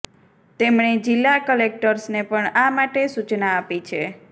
તેમણે જિલ્લા કલેકટર્સને પણ આ માટે સૂચના આપી છે